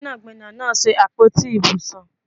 Gbẹ́nàgbẹ́nà náà ṣe àpótí ibùsùn